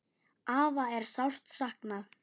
Afa er sárt saknað.